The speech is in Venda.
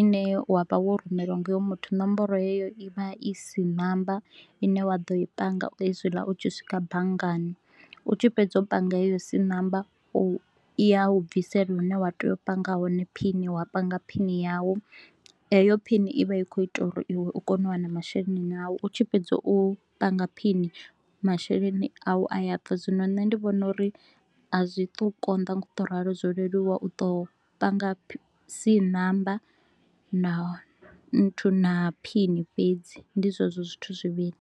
ine wa vha wo rumelwa nga hoyo muthu, nomboro heyo i vha i C namba ine wa ḓo i panga hezwila u tshi swika banngani. U tshi fhedza u panga heyo C namba u, i ya u bvisela hune wa tea u panga hone phini, wa panga phini yau. Heyo phini i vha i kho u ita uri iwe u kone u wana masheleni a u. U tshi fhedza u panga phini, masheleni a u a ya bva, zwino nṋe ndi vhona uri a zwi tu u konda nga u to u ralo. Zwo leluwa u tou panga C namba na nthu na phini fhedzi, ndi zwezwo zwithu zwivhili